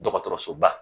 Dɔgɔtɔrɔsoba